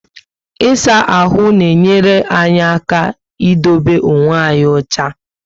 Isaa ahụ na enyere anyị aka idobe okwe anyị ocha